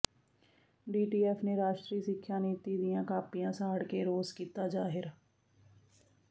DTF ਨੇ ਰਾਸ਼ਟਰੀ ਸਿੱਖਿਆ ਨੀਤੀ ਦੀਆਂ ਕਾਪੀਆਂ ਸਾੜ ਕੇ ਰੋਸ ਕੀਤਾ ਜਾਹਿਰ